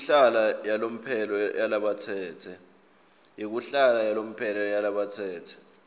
yekuhlala yalomphelo yalabatsetse